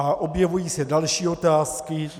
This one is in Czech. A objevují se další otázky.